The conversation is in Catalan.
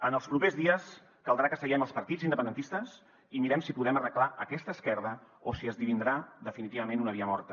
en els propers dies caldrà que seguem els partits independentistes i mirem si podem arreglar aquesta esquerda o si esdevindrà definitivament una via morta